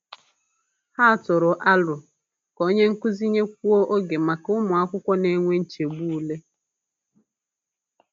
Ha tụrụ aro ka onye nkuzi nyekwuo oge maka ụmụ akwụkwọ na-enwe nchegbu ule.